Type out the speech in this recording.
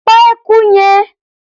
Pa eku yẹn!.